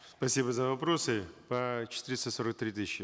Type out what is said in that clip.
спасибо за вопросы по четыреста сорок три тысячи